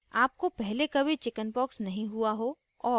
* आपको पहले कभी chickenpox नहीं हुआ हो और